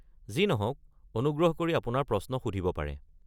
যি নহওক, অনুগ্ৰহ কৰি আপোনাৰ প্ৰশ্ন সুধিব পাৰে।